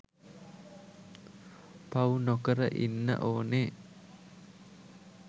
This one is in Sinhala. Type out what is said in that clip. පවු නොකර ඉන්න ඕනෙ